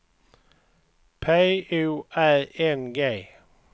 P O Ä N G